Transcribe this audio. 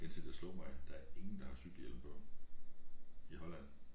Indtil det slog mig at der ingen der har cykelhjelm på i Holland